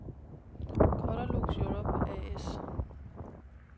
Colorlux Europe A/S